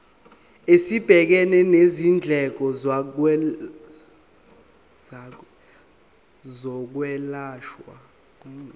esibhekene nezindleko zokwelashwa